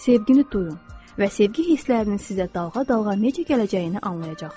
Sevgini duyun və sevgi hisslərinin sizə dalğa-dalğa necə gələcəyini anlayacaqsız.